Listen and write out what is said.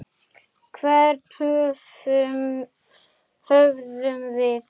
Hvern höfðum við?